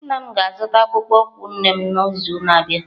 Nna m ga-azụta akpụkpọ ụkwụ nne m n'izu na-abịa.